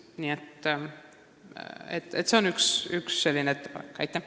Nii et ka see on üks ettepanekutest.